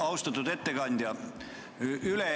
Austatud ettekandja!